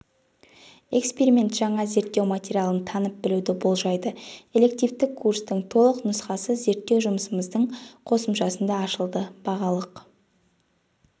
эксперимент жаңа зерттеу материалын танып білуді болжайды элективті курстың толық нұсқасы зерттеу жұмысымыздың косымшасында ашылды бағалық